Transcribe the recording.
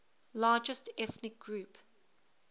largest ethnic group